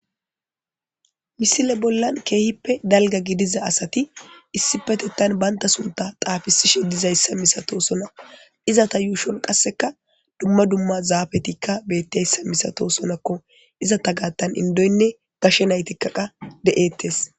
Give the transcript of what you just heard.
Misile bollan keehippe dalgga gidida asati issipetetan bantta suntta xaafisishe dizayssa misatosonna izetta yuushshon qasekka dumma dumma zaafeti dizayssa misatosonnakka izetta gaattan indoyonne gashe nayttikka de'ettes